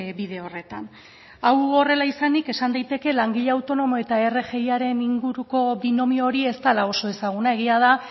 bide horretan hau horrela izanik esan daiteke langile autonomo eta rgiaren inguruko binomio hori ez dela oso ezaguna egia da